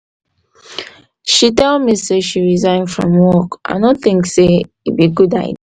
she tell me she resign from work i no think say e be good idea.